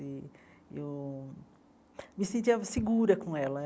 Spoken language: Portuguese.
E eu me sentia segura com ela.